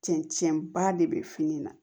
Cɛncɛn ba de bɛ fini na